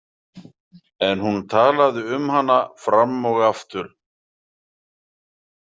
En hún talaði um hana fram og aftur.